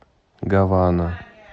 гавана